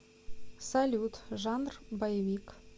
салют жанр боевик